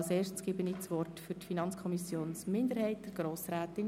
Ich erteile Grossrätin Stucki für die FiKo-Minderheit das Wort.